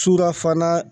Surafana